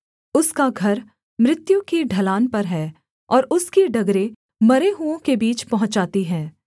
उसका घर मृत्यु की ढलान पर है और उसकी डगरें मरे हुओं के बीच पहुँचाती हैं